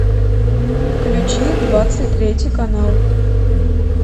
включи двадцать третий канал